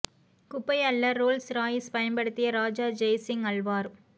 குப்பை அள்ள Rolls Royce பயன்படுத்திய ராஜா ஜெய் சிங் அல்வார்